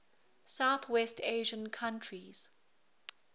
southwest asian countries